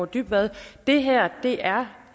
dybvad det her er